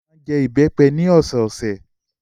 Olú máa ń jẹ ìbẹ́pẹ ní ọ̀sẹ̀ẹ̀sẹ̀.